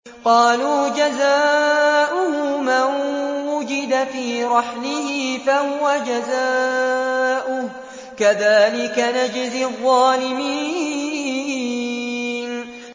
قَالُوا جَزَاؤُهُ مَن وُجِدَ فِي رَحْلِهِ فَهُوَ جَزَاؤُهُ ۚ كَذَٰلِكَ نَجْزِي الظَّالِمِينَ